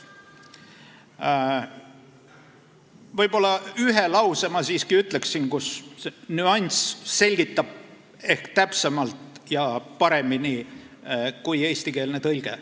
Ma siiski ütlen ühe lause, kus nüanssi selgitab ingliskeelne sõnastus ehk täpsemalt ja paremini kui eestikeelne tõlge.